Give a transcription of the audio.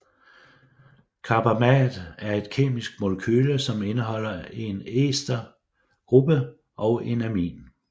Carbamat er et kemisk molekyle som indeholder en ester gruppe og en amin